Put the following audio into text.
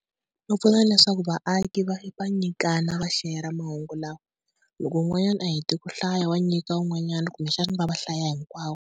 Swi pfuna leswaku vaaki va va nyikana va shere-a mahungu lawa, loko un'wanyana a hete ku hlaya wa nyika wun'wanyana kumbexana va va hlaya hinkwavo.